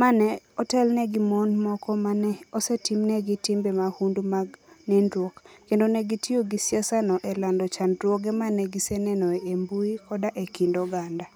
ma ne otelne gi mon moko ma ne osetimnegi timbe mahundu mag nindruok, kendo ne gitiyo gi siasano e lando chandruoge ma ne giseneno e mbui koda e kind oganda.